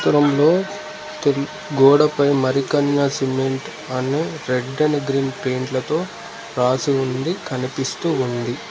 Room లో కిన్ గోడపై మరికన్న సిమెంట్ అని రెడ్ అండ్ గ్రీన్ పెయింట్లతో రాసి ఉంది కనిపిస్తూ ఉంది.